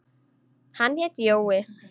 Hann hét Jói.